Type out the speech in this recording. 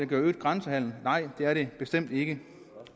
giver øget grænsehandel nej det er det bestemt ikke